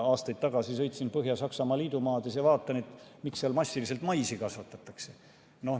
Aastaid tagasi sõitsin Põhja-Saksamaa liidumaades ja vaatasin, miks seal massiliselt maisi kasvatatakse.